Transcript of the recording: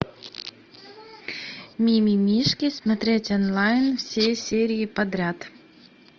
мимимишки смотреть онлайн все серии подряд